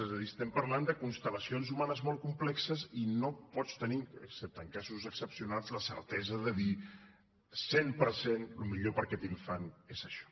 és a dir estem parlant de constellacions humanes molt complexes i no pots tenir excepte en casos excepcionals la certesa de dir al cent per cent el millor per a aquest infant és això